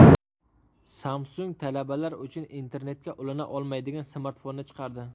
Samsung talabalar uchun internetga ulana olmaydigan smartfonni chiqardi.